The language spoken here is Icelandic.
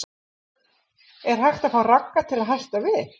Er hægt að fá Ragga til að hætta við?